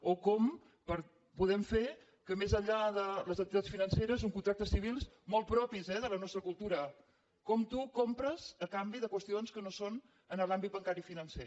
o com podem fer que més enllà de les entitats financeres uns contractes civils molt propis eh de la nostra cultura com tu compres a canvi de qüestions que no són en l’àmbit bancari i financer